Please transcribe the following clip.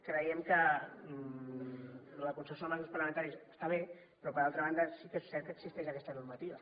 creiem que el consens amb els grups parlamentaris està bé però per altra banda sí que és cert que existeix aquesta normativa